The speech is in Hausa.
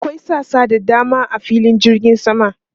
Akwai sassa da dama a filin jirgin sama.